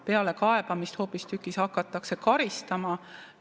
Pealekaebamist hoopistükkis hakatakse karistama.